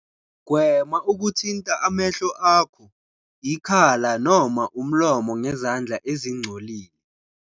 .gwema ukuthinta amehlo akho, ikhala noma umlomo ngezandla ezingcolile.